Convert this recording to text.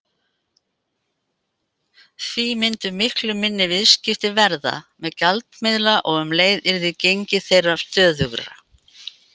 Því myndu miklu minni viðskipti verða með gjaldmiðla og um leið yrði gengi þeirra stöðugra.